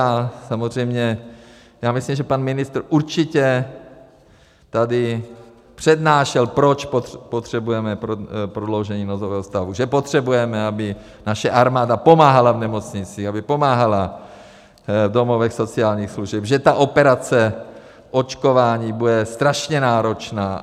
A samozřejmě já myslím, že pan ministr určitě tady přednášel, proč potřebujeme prodloužení nouzového stavu, že potřebujeme, aby naše armáda pomáhala v nemocnicích, aby pomáhala v domovech sociálních služeb, že ta operace očkování bude strašně náročná.